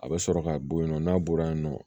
A bɛ sɔrɔ ka bɔ yen nɔ n'a bɔra yen nɔ